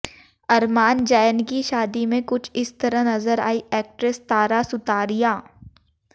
अरमान जैन की शादी में कुछ इस तरह नजर आईं एक्ट्रेस तारा सुतारिया